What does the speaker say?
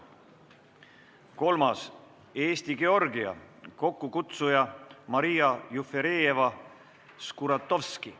Kolmandaks, Eesti-Georgia, kokkukutsuja on Maria Jufereva-Skuratovski.